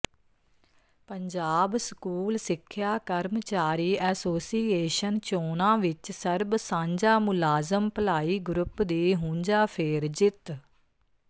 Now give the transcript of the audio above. Punjab school ਸਿੱਖਿਆ ਕਰਮਚਾਰੀ association ਚੋਣਾਂ ਵਿੱਚ ਸਰਬ ਸਾਂਝਾ ਮੁਲਾਜ਼ਮ ਭਲਾਈ ਗਰੁੱਪ ਦੀ ਹੂੰਝਾਫੇਰ ਜਿੱਤ